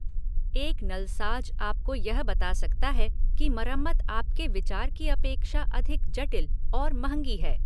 एक नलसाज आपको यह बता सकता है कि मरम्मत आपके विचार की अपेक्षा अधिक जटिल और महंगी है।